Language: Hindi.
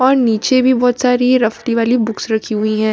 और नीचे भी बहुत सारी रफ्ती वाली बुक्स रखी हुई हैं।